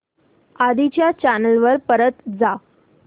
आधी च्या चॅनल वर परत जा